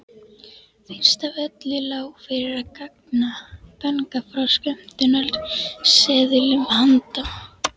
Fyrst af öllu lá fyrir að ganga frá skömmtunarseðlum handa